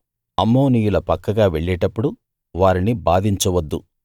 అమ్మోనీయుల పక్కగా వెళ్ళేటప్పుడు వారిని బాధించవద్దు